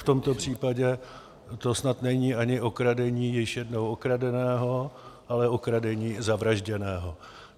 V tomto případě to snad není ani okradení již jednou okradeného, ale okradení zavražděného.